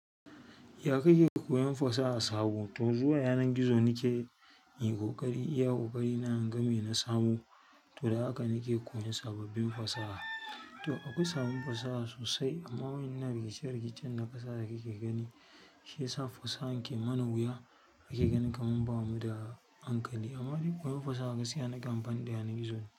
Ya kake koyan fasaha sabo? To zuwa yanan gizo nike inyi ƙoƙari. Iya ƙoƙari na inga me na samo, to da haka nike koyan sababbin fasaha. To akwai sababbin fasaha sosai amma wa'yannan rikice rikicen na ƙasa da kake gani shiyasa fasahan ke mana wuya ake ganin kaman ba muda hankali. Amma dai koyon fasaha gaskiya nakan amfani da yanan gizo.